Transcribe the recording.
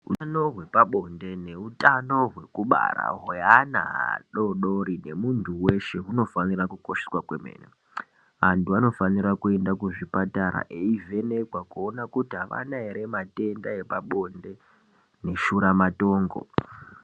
Utano hwepabonde neutano hwekubara hweana adodori nemuntu weshe hunofanira kukosheswa kwemene antu anofanira kuyenda kuzvipatara eivhenekwa kuona kuti aana ere matenda epabonde neshuramatongo.